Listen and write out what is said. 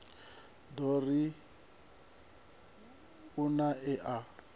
ḓo ri u nae a